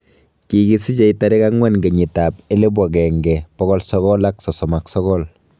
Kikisichei tarik 4 1939